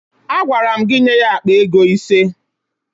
Agwara m gị nye ya akpa ego ise!